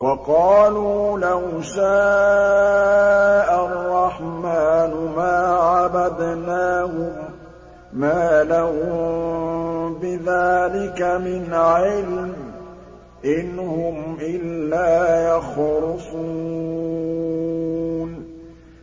وَقَالُوا لَوْ شَاءَ الرَّحْمَٰنُ مَا عَبَدْنَاهُم ۗ مَّا لَهُم بِذَٰلِكَ مِنْ عِلْمٍ ۖ إِنْ هُمْ إِلَّا يَخْرُصُونَ